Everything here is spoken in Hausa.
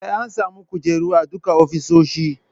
Sai an sami kujeru a duka ofisoshi